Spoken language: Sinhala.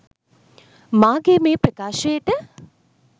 මාගේ මේ ප්‍රකාශයට